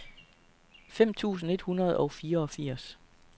fem tusind et hundrede og fireogfirs